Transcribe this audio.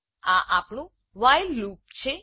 આ આપણું while loop while loop છે